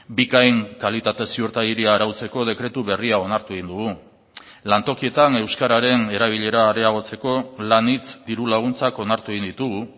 bikain kalitate ziurtagiria arautzeko dekretu berria onartu egin dugu lantokietan euskararen erabilera areagotzeko lanhitz diru laguntzak onartu egin ditugu